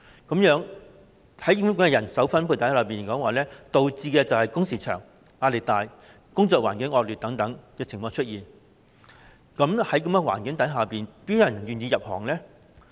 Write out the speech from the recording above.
這樣的人手分配情況導致工時長、壓力大、工作環境惡劣等問題出現，這樣，又怎會有人願意入行呢？